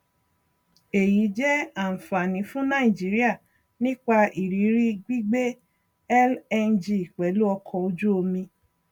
èyí jẹ ànfàní fùn nàìjíríà nípa ìrírí gbígbé lng pèlú ọkọ ojú omi